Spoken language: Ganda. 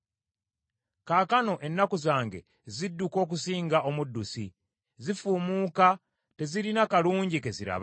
Kaakano ennaku zange zidduka okusinga omuddusi, zifuumuuka, tezirina kalungi ke ziraba.